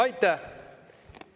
Aitäh!